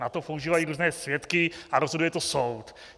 Na to používají různé svědky a rozhoduje to soud.